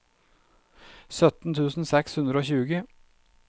sytten tusen seks hundre og tjue